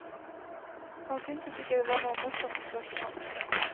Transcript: Han syntes ikke det var noe morsomt spørsmål.